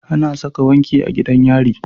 Ana Saka wanki a gidan yari